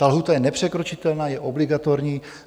Ta lhůta je nepřekročitelná, je obligatorní.